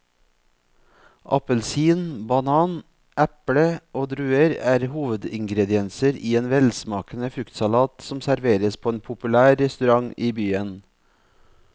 Appelsin, banan, eple og druer er hovedingredienser i en velsmakende fruktsalat som serveres på en populær restaurant i byen.